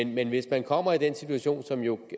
men hvis man kommer i den situation som jo